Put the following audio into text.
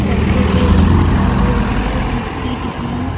सरसों तेल भी दिखाई दे रहै हैं बिस्किट भी--